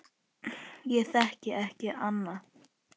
Ég þekki ekki annað.